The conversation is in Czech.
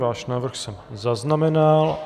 Váš návrh jsem zaznamenal.